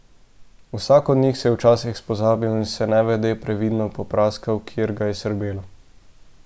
Vsak od njih se je včasih spozabil in se nevede, previdno popraskal, kjer ga je srbelo.